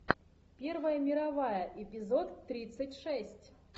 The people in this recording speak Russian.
первая мировая эпизод тридцать шесть